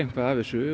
af þessu